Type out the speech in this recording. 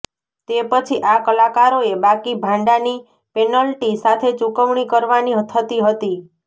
તે પછી આ કલાકારોએ બાકી ભાડાંની પેનલ્ટી સાથે ચૂકવણી કરવાની થતી હતી